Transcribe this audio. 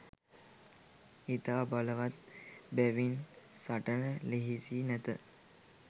ඉතා බලවත් බැවින් සටන ලෙහෙසි නැත.